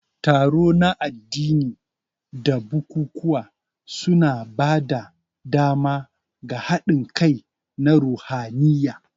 Taro na addini da bukukuwa suna ba da dama ga haɗin kai na ruhaniya.